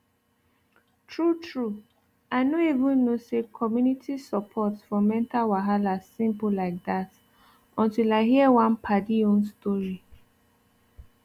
true true i no even know say community support for mental wahala simple like that until i hear one padi own story